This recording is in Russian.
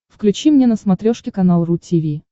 включи мне на смотрешке канал ру ти ви